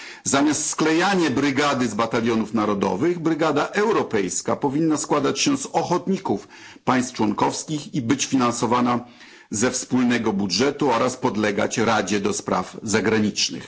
Zamiast sklejania brygady z batalionów narodowych brygada europejska powinna składać się z ochotników z państw członkowskich i być finansowana ze wspólnego budżetu oraz podlegać Radzie do Spraw Zagranicznych.